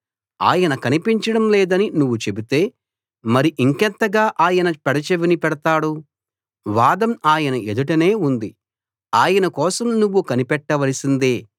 ఆయన కనిపించడం లేదని నువ్వు చెబితే మరి ఇంకెంతగా ఆయన పెడచెవిన పెడతాడు వాదం ఆయన ఎదుటనే ఉంది ఆయన కోసం నువ్వు కనిపెట్టవలసిందే